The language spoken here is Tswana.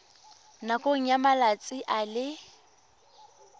nakong ya malatsi a le